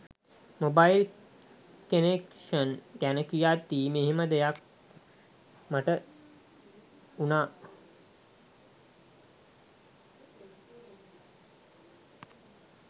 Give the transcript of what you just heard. Mobile connection ගැන කියද්දි මෙහෙම දෙයක් මට වුනා.